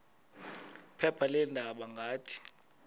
phepha leendaba ngathi